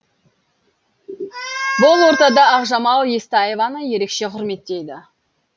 бұл ортада ақжамал естаеваны ерекше құрметтейді